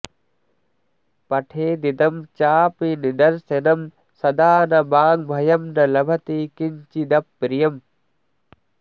पठेदिदं चापि निदर्शनं सदा न वाङ्भयं स लभति किंचिदप्रियम्